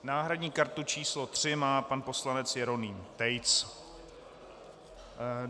Náhradní kartu číslo 3 má pan poslanec Jeroným Tejc.